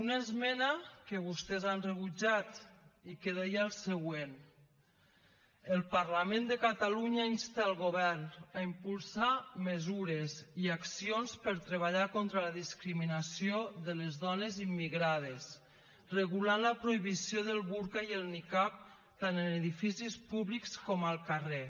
una esmena que vostès han rebutjat i que deia el següent el parlament de catalunya insta el govern a impulsar mesures i accions per treballar contra la discriminació de les dones immigrades regulant la prohibició del burca i el nicab tant en edificis públics com al carrer